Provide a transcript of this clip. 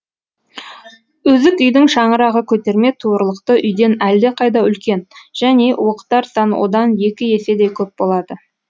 үзік үйдің шаңырағы көтерме туырлықты үйден әлдеқайда үлкен және уықтар саны одан екі еседей көп болады